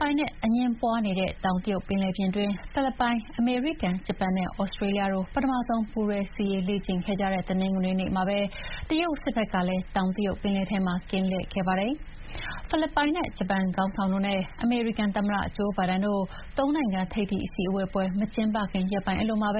ပိုင်နက်အငြင်းပွါးနေတဲ့ တောင်တရုတ်ပင်လယ်ပြင်တွင်း ဖိလစ်ပိုင်၊ အမေရိကန်၊ ဂျပန်နဲ့ သြစတေးလျတို့ ပထမဆုံး ပူးတွဲစစ်ရေး လေ့ကျင့်ခဲ့ကြတဲ့ တနင်္ဂနွေနေ့မှာပဲ တရုတ်စစ်ဖက်ကလည်း တောင်တရုတ်ပင်လယ်ထဲမှာ ကင်းလှည့်ခဲ့ပါတယ်။ ဖိလစ်ပိုင်၊ ဂျပန်ခေါင်းဆောင်တို့နဲ့ အမေရိကန်သမ္မတ ဂျိုးဘိုင်ဒန်တို့ ၃ နိုင်ငံထိပ်သီးအစည်းအဝေးပွဲမကျင်းပခင် ရက်ပိုင်းအလိုမှာ